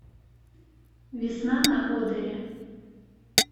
весна на одере